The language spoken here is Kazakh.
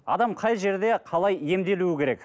адам қай жерде қалай емделуі керек